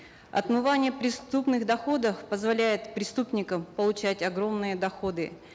отмывание преступных доходов позволяет преступникам получать огромные доходы